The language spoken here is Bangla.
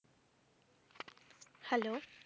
Hello